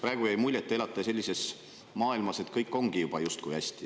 Praegu jäi mulje, et te elate sellises maailmas, kus kõik ongi juba justkui hästi.